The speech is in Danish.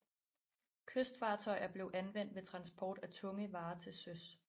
Kystfartøjer blev anvendt ved transport af tunge varer til søs